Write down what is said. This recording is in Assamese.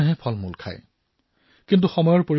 অৱশ্যে এতিয়া সময় পৰিৱৰ্তিত হৈছে